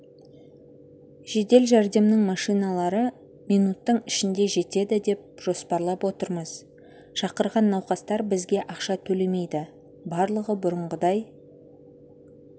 жедел жәрдемнің машиналары минуттың ішінде жетеді деп жоспарлап отырмыз шақырған науқастар бізге ақша төлемейді барлығы бұрынғыдай